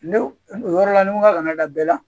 Ne yɔrɔ la ni n ko ka kan'a da bɛɛ la